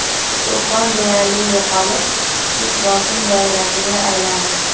To‘fon deyarli yo‘qolib, kichik bosim doirasiga aylandi.